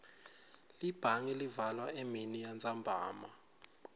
libhange livalwa eminiyantsambama